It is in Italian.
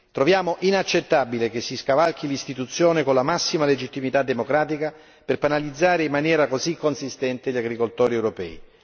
Troviamo inaccettabile che si scavalchi l'istituzione con la massima legittimità democratica per penalizzare in maniera così inconsistente gli agricoltori europei.